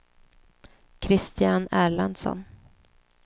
Kristian Erlandsson